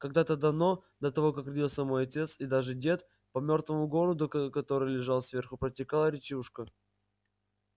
когда-то давно до того как родился мой отец и даже дед по мёртвому городу который лежал сверху протекала речушка